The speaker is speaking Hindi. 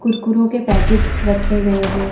कुरकुरो के पैकेट रखे गए हैं।